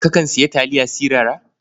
Kakan sayi taliya sirara?